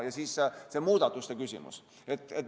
Ja siis on see muudatuste küsimus.